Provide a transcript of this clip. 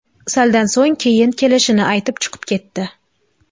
Saldan so‘ng, keyin kelishini aytib chiqib ketdi.